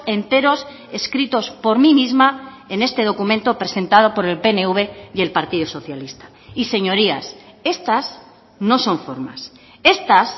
enteros escritos por mí misma en este documento presentado por el pnv y el partido socialista y señorías estas no son formas estas